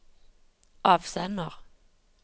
avsender